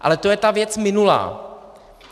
Ale to je ta věc minulá.